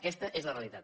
aquesta és la realitat